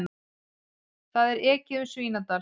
Það er ekið um Svínadal.